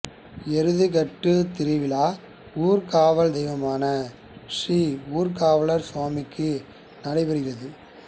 எருதுகட்டு திருவிழா ஊர் காவல் தெய்வம்மான ஸ்ரீ ஊர்காவலர் சுவாமி க்கு நடைபெறுகிறது